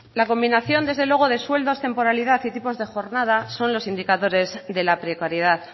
la combinación desde luego de sueldos temporalidad y tipos de jornada son los indicadores de la precariedad